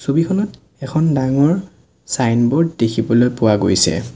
ছবিখনত এখন ডাঙৰ ছাইনবোৰ্ড দেখিবলৈ পোৱা গৈছে।